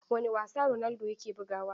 Wane wasa Ronaldo yake bugawa?